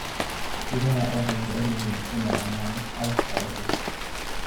Idaha waxay jecel yihiin inay cunaan cawska cusub.